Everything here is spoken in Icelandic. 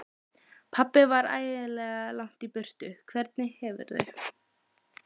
Pabbi var ægilega langt í burtu. Hvernig hefurðu.